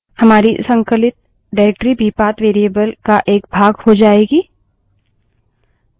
हमारी संकलित निर्देशिका directory भी path variable का एक भाग हो जाएगी